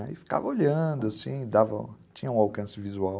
E ficava olhando, assim, dava, tinha um alcance visual.